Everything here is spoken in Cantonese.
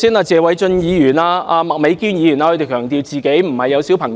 謝偉俊議員和麥美娟議員剛才強調自己沒有小孩。